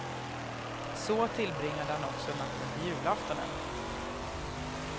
Så tillbringade han också natten till julaftonen.